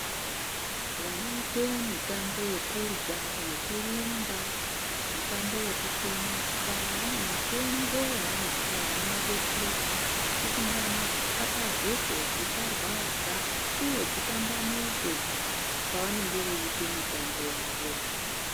Vanoita mitambo yekurwa yekurumba mitambo yekutomuka vane mitombo yavanopuwa inovadetseredza kuti nyama dzitakazeke dzisarwadza uye dzitambanuke pavanenge veita mitambo yawo.